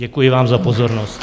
Děkuji vám za pozornost.